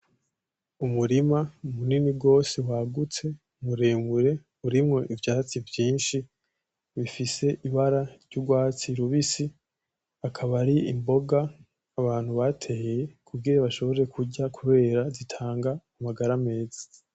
Umurima munini gose wagutse muremure urimwo ivyatsi vyinshi bifise ibara ry'urwatsi rubisi, akaba ari imboga abantu bateye kugira bashobore kurya kubera zitanga amagara meza.